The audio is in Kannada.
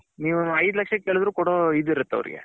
ನೀವು ಏದು ಲಕ್ಷ ಕೇಳಿದ್ರು ಕೊಡೊ ಇದು ಇರುತೆ ಅವರಿಗೆ